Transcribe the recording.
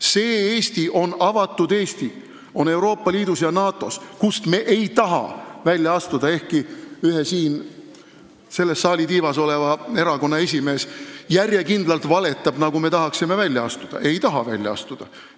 See Eesti on avatud Eesti, mis on Euroopa Liidus ja NATO-s, kust me ei taha välja astuda, ehkki ühe siin selle saali tiivas oleva erakonna esimees järjekindlalt valetab, nagu me tahaksime sealt välja astuda.